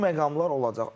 Bu məqamlar olacaq.